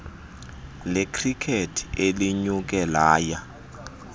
lekhrikethi elinyuke laya